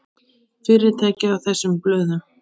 Fyrirtækið á þessum blöðum.